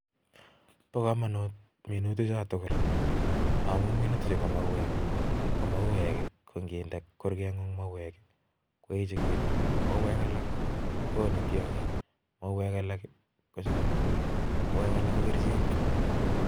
Pa kamanut minuti chuu tugul amun minuti chuu ko mauweek mauwek. alak. koonee tyangik. mauwek. alak.ko kericheek chekipaisheee Eng sapet